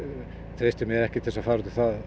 treysti mér ekki til að fara